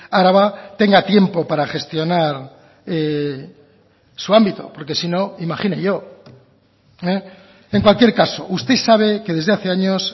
araba tenga tiempo para gestionar su ámbito porque si no imagine yo en cualquier caso usted sabe que desde hace años